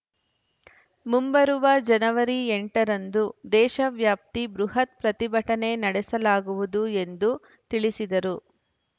ಮುಂಬರುವ ಜನವರಿ ಎಂಟ ರಂದು ದೇಶ ವ್ಯಾಪ್ತಿ ಬೃಹತ್‌ ಪ್ರತಿಭಟನೆ ನಡೆಸಲಾಗುವುದು ಎಂದು ತಿಳಿಸಿದರು